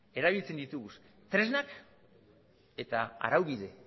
erabiltzen ditugu tresnak eta araubide